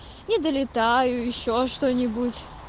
не долетаю ещё что-нибудь